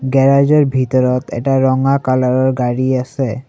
Garage ৰ ভিতৰত এটা ৰঙা কালাৰ ৰ গাড়ী আছে।